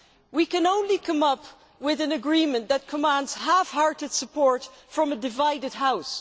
we can only come up with an agreement that commands half hearted support from a divided House.